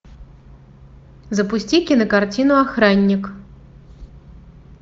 запусти кинокартину охранник